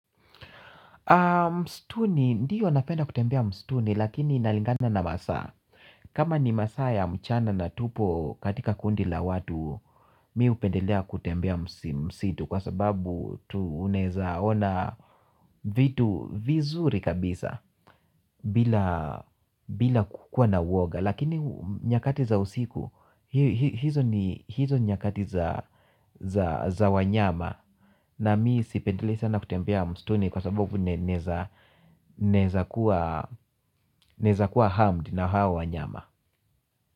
Msituni, ndiyo napenda kutembea msituni, lakini nalingana na masaa. Kama ni masaa ya mchana na tupo katika kundi la watu. Mi hupendelea kutembea msitu kwa sababu unaweeza ona vitu vizuri kabisa bila kukuwa na uoga. Lakini nyakati za usiku, hizo ni nyakati za wanyama. Na mimi sipendelei sana kutembea msituni kwa sababu naweza kuwa harmed na hao wanyama.